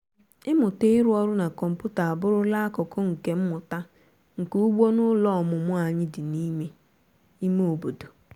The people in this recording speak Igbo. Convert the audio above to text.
ịmụta ịrụ ọrụ na kọmputa abụrụla akụkụ nke mmụta nka ugbo n'ụlọ ọmụmụ anyị dị n'ime ime obodo.